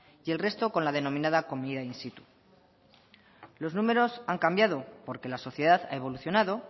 y el resto con la denominada comida in situ los números han cambiado porque la sociedad ha evolucionado